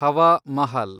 Hawa Mahal